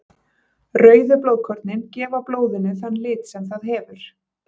Rauðu blóðkornin gefa blóðinu þann lit sem það hefur.